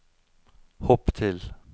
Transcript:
hopp til